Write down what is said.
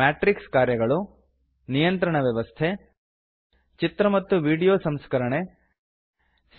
matrix ಕಾರ್ಯಗಳು ನಿಯಂತ್ರಣ ವ್ಯವಸ್ಥೆ ಚಿತ್ರ ಮತ್ತು ವೀಡಿಯೊ ಸಂಸ್ಕರಣೆ